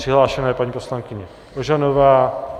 Přihlášena je paní poslankyně Ožanová.